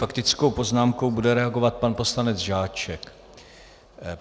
Faktickou poznámkou bude reagovat pan poslanec Žáček.